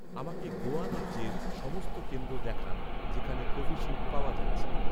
আমাকে গোয়া রাজ্যের সমস্ত কেন্দ্র দেখান, যেখানে কোভিশিল্ড পাওয়া যাচ্ছে